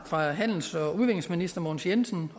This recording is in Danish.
fra handels og udviklingsminister mogens jensen